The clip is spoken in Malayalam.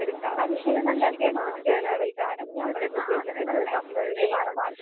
മനുഷ്യര് സഞ്ചരിക്കാൻ മാത്രമല്ല ഉപയോഗിക്കണെ. ഇങ്ങനത്തെ സാധനങ്ങൾ കയറ്റുമതി ചെയ്യാനും